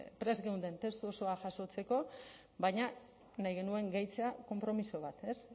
prest geunden testu osoa jasotzeko baina nahi genuen gehitzea konpromiso bat